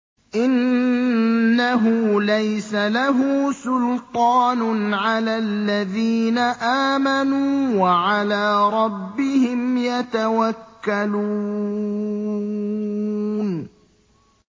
إِنَّهُ لَيْسَ لَهُ سُلْطَانٌ عَلَى الَّذِينَ آمَنُوا وَعَلَىٰ رَبِّهِمْ يَتَوَكَّلُونَ